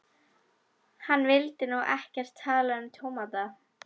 Hann vildi nú ekkert tala um tómata.